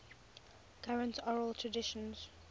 current oral traditions